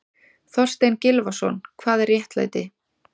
Þorstein Gylfason, Hvað er réttlæti?